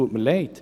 Ich bedaure.